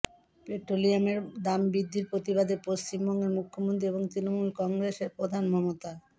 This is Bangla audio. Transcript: পেট্রোলিয়ামের দাম বৃদ্ধির প্রতিবাদে পশ্চিমবঙ্গের মুখ্যমন্ত্রী এবং তৃণমূল কংগ্রেসের প্রধান মমতা